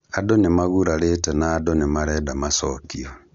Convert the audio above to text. Andũ nĩmagurarĩte na andũ nĩmarenda macokio